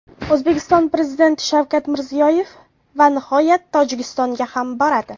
O‘zbekiston Prezidenti Shavkat Mirziyoyev va nihoyat Tojikistonga ham boradi.